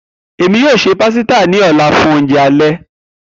Emi yoo ṣe pasita ni ọla fun ounjẹ alẹ.